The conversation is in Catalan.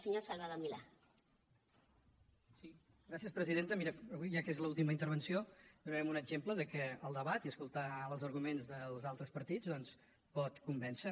miri avui ja que és l’última intervenció donarem un exemple que el debat i escoltar els arguments dels altres partits doncs pot convèncer